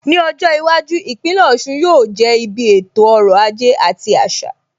Ní ọjọ́ iwájú, Ìpínlẹ̀ Ọ̀sun yóò jẹ́ ibi ètò ọrọ̀ ajé àti àṣà.